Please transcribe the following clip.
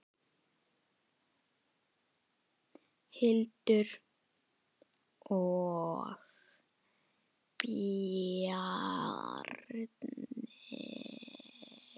Hildur og Bjarni.